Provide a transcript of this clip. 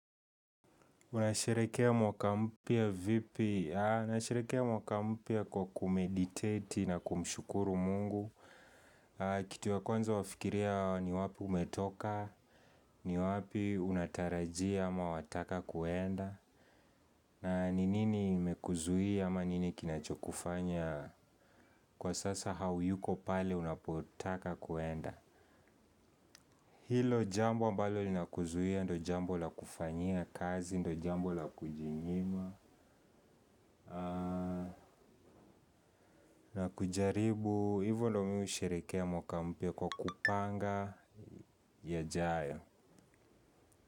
Unasherekea mwaka mpya vipi? Nasherekea mwaka mpya kwa kumeditate na kumshukuru Mungu. Kitu ya kwanza wafikiria ni wapi umetoka, ni wapi unatarajia ama wataka kuenda. Na nini imekuzuia ama nini kinachokufanya kwa sasa hauyuko pale unapotaka kwenda hilo jambo ambalo linakuzuia ndo jambo la kufanyia kazi ndo jambo la kujinyima. Na kujaribu hivo ndo mi husherekea mwaka mpya kwa kupanga yajayo.